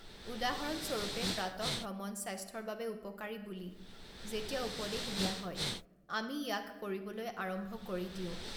উদাহৰণ স্বৰূপে পাতঃভ্ৰমণ স্বাস্থ্যৰ বাবে উপকাৰী বুলি যেতিয়া উপদেশ দিয়া হয় আমি ইয়াক কৰিবলৈ আৰম্ভ কৰি দিওঁ।